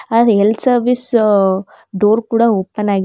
ಅಲ್ health service ಅ- door ಕೂಡ ಓಪನ್ ಆಗಿದೆ. ಮತ್